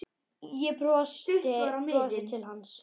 Ég brosi til hans.